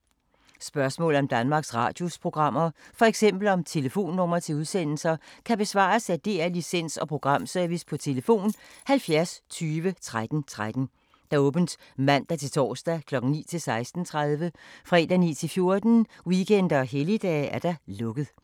Spørgsmål om Danmarks Radios programmer, f.eks. om telefonnumre til udsendelser, kan besvares af DR Licens- og Programservice: tlf. 70 20 13 13, åbent mandag-torsdag 9.00-16.30, fredag 9.00-14.00, weekender og helligdage: lukket.